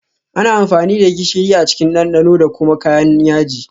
Ana amfani da gishiri a cikin dandano da kuma kayan yaji